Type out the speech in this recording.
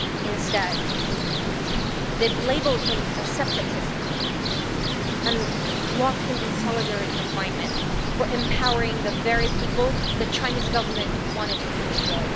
Instead, they labelled him a separatist and locked him in solitary confinement for empowering the very people the Chinese Government wanted to control.